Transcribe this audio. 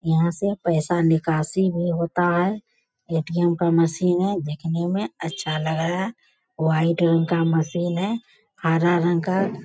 यहाँ से पैसा निकासी भी होता है। ए.टी.एम. का मशीन है देखने में अच्छा लग रहा है। वाइट रंग का मशीन है हरा रंग का --